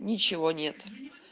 ничего нет